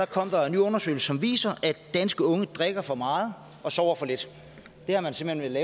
kom der en ny undersøgelse som viser at danske unge drikker for meget og sover for lidt det har man simpelt